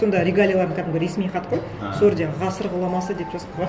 сонда регалияларын кәдімгі ресми хат қой сол жерде ғасыр ғұламасы деп жазып қойған